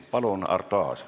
Palun, Arto Aas!